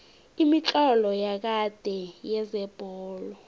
imitlolo yakade yezebholo